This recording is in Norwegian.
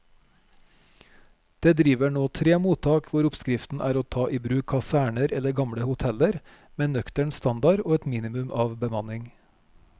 Det driver nå tre mottak hvor oppskriften er å ta i bruk kaserner eller gamle hoteller med nøktern standard og et minimum av bemanning.